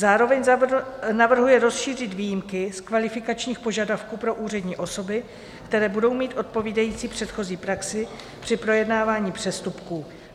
Zároveň navrhuje rozšířit výjimky z kvalifikačních požadavků pro úřední osoby, které budou mít odpovídající předchozí praxi při projednávání přestupků.